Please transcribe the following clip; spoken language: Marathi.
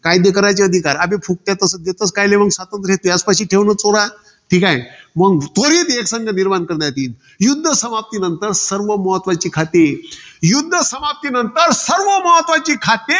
कायदे कराचे अधिकार. अबे फुकट्या तसं, देतस कायले मंग स्वातंत्र्य तुयाचपाशी ठेव ना चोरा. ठीकाय. मंग त्वरित एकसंघ निर्माण करण्यात येईल. युध्द समाप्तीनंतर सर्व महत्वाची खाती. युध्द समाप्तीनंतर सर्व महत्वाची खाती